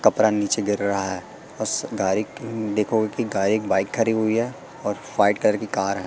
कपड़ा नीचे गिर रहा है बस गाड़ी देखो की गाड़ी एक बाइक खड़ी हुई है और फाइट कलर की कार है।